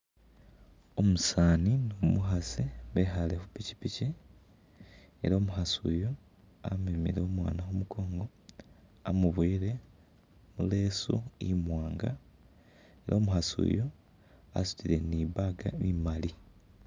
Umusaani ni umukhasi bekhaale khu pikipiki ela umukhasi uyu amemile umwaana khu mukongo, amuboyile mu leesu imwaanga, ne umukhasi uyu asutile ni i'bag imali.